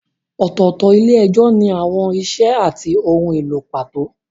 Ọ̀tọ̀ọ̀tọ̀ ilé-ẹjọ́ ní àwọn ìṣe àti ohun èlò pàtó.